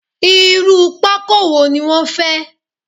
Irú pákó wo ni wọn fẹ́?